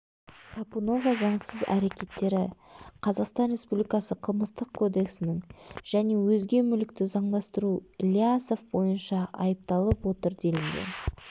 храпунова заңсыз әрекеттері қазақстан республикасы қылмыстық кодексінің және өзге мүлікті заңдастыру ілиясов бойынша айыпталып отыр делінген